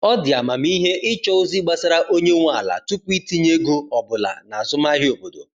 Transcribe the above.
Ọ dị amamihe ịchọ ozi gbasara onye nwe ala tupu itinye ego ọbụla n'azụmahịa obodo.